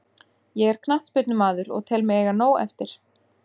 Ég er knattspyrnumaður og tel mig eiga nóg eftir.